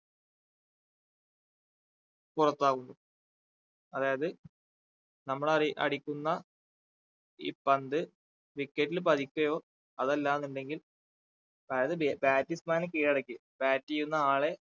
പുറത്താകുന്നു അതായത് നമ്മൾ അറി അടിക്കുന്ന ഈ പന്ത് wicket ൽ പതിക്കുകയോ അതല്ലാന്നുണ്ടെങ്കിൽ അതായത് batsman നെ കീഴടക്കി bat ചെയ്യുന്ന ആളെ